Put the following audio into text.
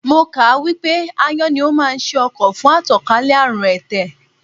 Mo kà á wípé Ááyán ni ó máa ń ṣe ọkọ̀ fún àtànkálẹ̀ àrùn ẹ̀tẹ̀.